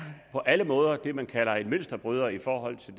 på alle måder det man kalder en mønsterbryder i forhold til